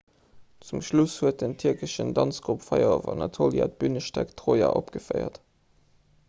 zum schluss huet den tierkeschen danzgrupp fire of anatolia d'bünestéck troja opgeféiert